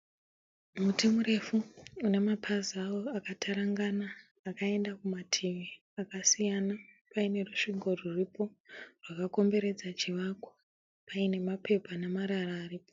Muti murefu une mapazi awo akatarangana akaenda kumativi akasiyana, paine rusvingo rwuripo rwakakomberedza chivako, paine mapepa nemarara aripo.